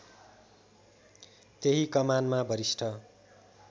त्यही कमानमा वरिष्ठ